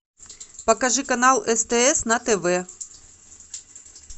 покажи канал стс на тв